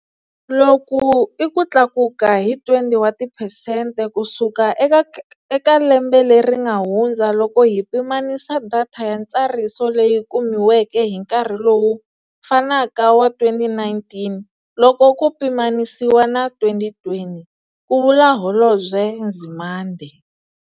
Loku I ku tlakuka hi 20 wa tiphesente kusuka eka eka lembe leri nga hundza loko hi pimanisa data ya ntsariso leyi kumiweke hi nkarhi lowu fanaka wa 2019 loko ku pimanisiwa na 2020, ku vula Holobye Nzimande.